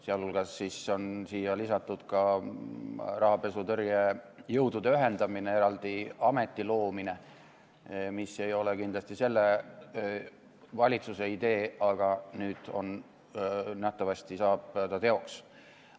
Sealhulgas on siia lisatud rahapesutõrje jõudude ühendamine ja eraldi ameti loomine, mis ei ole kindlasti selle valitsuse idee, aga nüüd nähtavasti saab see teoks.